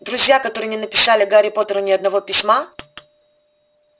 друзья которые не написали гарри поттеру ни одного письма